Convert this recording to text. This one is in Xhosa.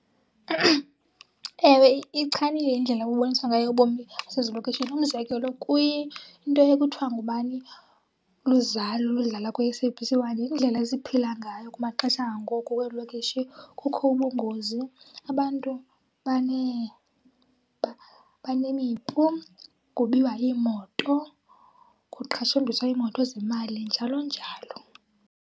Ewe, iyichanile indlela ebuboniswa ngayo ubomi basezilokishini. Umzekelo kwinto ekuthiwa ngubani? Luzalo eludlala kwi-S_A_B_C one yindlela esiphila ngayo kumaxesha angoku weelokishi. Kukho ubungozi abantu banemipu, kubiwa iimoto, kuqhashumbiswa iimoto zemali njalo njalo.